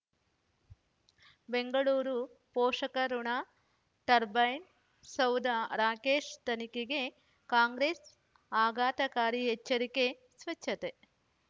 ಬೆಂಗಳೂರು ಪೋಷಕರಋಣ ಟರ್ಬೈನು ಸೌಧ ರಾಕೇಶ್ ತನಿಖೆಗೆ ಕಾಂಗ್ರೆಸ್ ಆಘಾತಕಾರಿ ಎಚ್ಚರಿಕೆ ಸ್ವಚ್ಛತೆ